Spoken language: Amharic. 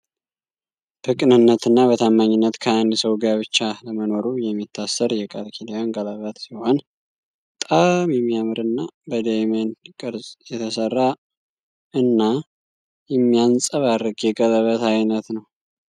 በቅንነትና በታማኝነት ከአንድ ሰው ጋብቻ ለመኖሩ የሚታሰር የቃል ኪዳን ቀለበት ሲሆን በጣም የሚያምርና በዳይመድ ቅርጽ የተሰራ እና የሚያንፀባረቅ የቀለበት አይነት ነው።